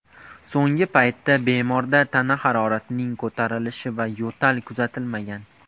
So‘nggi paytda bemorda tana haroratining ko‘tarilishi va yo‘tal kuzatilmagan.